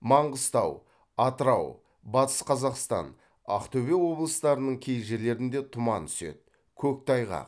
маңғыстау атырау батыс қазақстан ақтөбе облыстарының кей жерлерінде тұман түседі көктайғақ